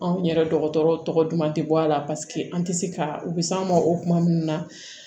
Anw yɛrɛ dɔgɔtɔrɔw tɔgɔ duman tɛ bɔ a la paseke an tɛ se ka u bɛ s'an ma o kuma minnu na